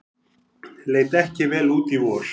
Leit ekki vel út í vor